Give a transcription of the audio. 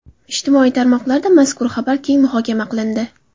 Ijtimoiy tarmoqlarda mazkur xabar keng muhokama qilindi.